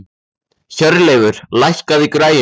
Hjörleifur, lækkaðu í græjunum.